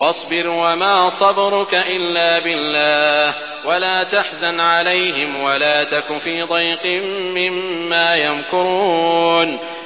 وَاصْبِرْ وَمَا صَبْرُكَ إِلَّا بِاللَّهِ ۚ وَلَا تَحْزَنْ عَلَيْهِمْ وَلَا تَكُ فِي ضَيْقٍ مِّمَّا يَمْكُرُونَ